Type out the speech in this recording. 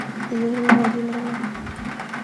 юлии владимировны